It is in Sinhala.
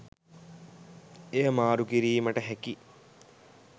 එය මාරු කිරීමට හැකි